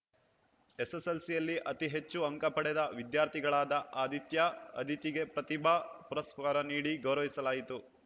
ಎಸ್‌ಎಸ್‌ಎಲ್‌ಸಿಯಲ್ಲಿ ಅತಿ ಹೆಚ್ಚು ಅಂಕ ಪಡೆದ ವಿದ್ಯಾರ್ಥಿಗಳಾದ ಆದಿತ್ಯ ಅಧಿತಿಗೆ ಪ್ರತಿಭಾ ಪುರಸ್ಕಾರ ನೀಡಿ ಗೌರವಿಸಲಾಯಿತು